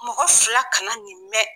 Mɔgɔ fila kana nɛni nɛ